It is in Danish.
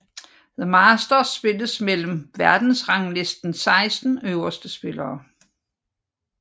The Masters spilles mellem verdensranglistens 16 øverste spillere